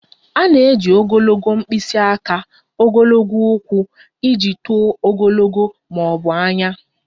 A na-eji ogologo mkpịsị aka, ogologo ụkwụ iji tụọ ogologo ma ọ bụ anya